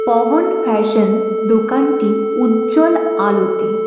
Pawan fashion দোকানটি উজ্জ্বল আলোতে--